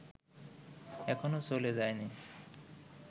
এখনো চলে যায়নি